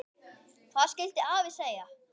Hvað skyldi afi segja?